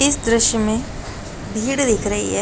इस दृश्य में भीड़ दिख रही है।